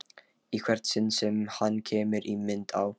Í hvert sinn sem hann kemur í mynd á